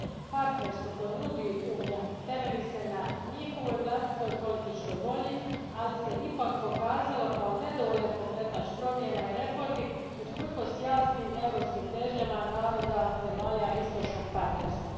Partnerstvo koje nudi Unija temelji se na njihovoj vlastitoj političkoj volji, ali se ipak pokazalo kao nedovoljan pokretač promjena i reformi, usprkos jasnim europskim težnjama naroda zemalja istočnog partnerstva.